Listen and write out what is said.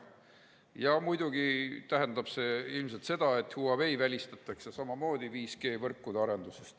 Ja muidugi tähendab see ilmselt seda, et Huawei välistatakse samamoodi 5G-võrkude arenduses.